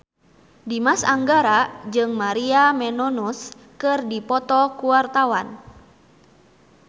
Dimas Anggara jeung Maria Menounos keur dipoto ku wartawan